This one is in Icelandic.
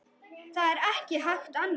Það er ekki hægt annað.